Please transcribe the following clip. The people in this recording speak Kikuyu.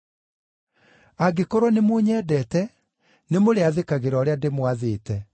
“Angĩkorwo nĩmũnyendete, nĩmũrĩathĩkagĩra ũrĩa ndĩmwathĩte.